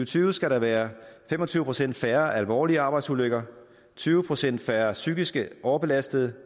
tyve skal der være fem og tyve procent færre alvorlige arbejdsulykker tyve procent færre psykisk overbelastede